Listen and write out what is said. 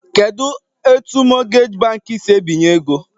Kedu etu mọtgeji bankị si ebinye ego?